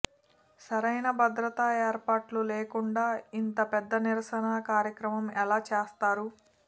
సారైనా భద్రతా ఏర్పాట్లు లేకుండా ఇంత పెద్ద నిరసన కార్యక్రమం ఎలా చేస్తారు